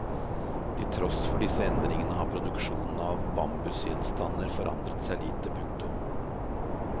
Til tross for disse endringer har produksjon av bambusgjenstander forandret seg lite. punktum